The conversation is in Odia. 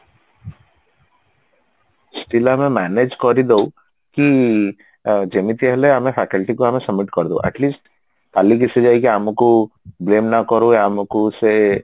still ଆମେ manage କରିଦଉ କି ଅ ଯେମତି ହେଲେ ଆମେ faculty କୁ ଆମେ submit କରିଦବୁ at least କାଲି ସେ ଯାଇକି ଆମକୁ blame ନକରୁ ଆମକୁ ସେ